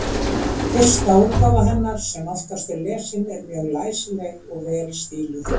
Fyrsta útgáfa hennar, sem oftast er lesin, er mjög læsileg og vel stíluð.